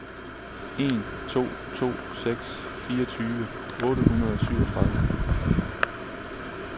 en to to seks fireogtyve otte hundrede og syvogtredive